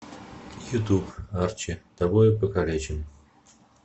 ютуб арчи тобою покалечен